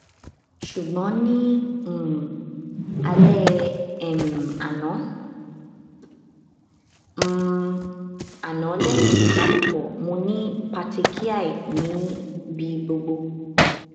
sugbon ni um ale um ano um ano lehin ibalopo mo ni patechiae ni bi gbogbo